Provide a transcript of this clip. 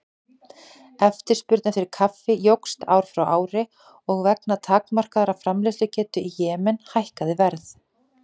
Eftirspurn eftir kaffi jókst ár frá ári og vegna takmarkaðrar framleiðslugetu í Jemen hækkaði verð.